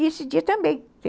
E esse dia também.